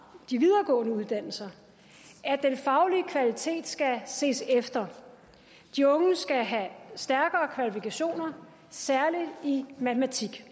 de videregående uddannelser at den faglige kvalitet skal ses efter de unge skal have stærkere kvalifikationer særlig i matematik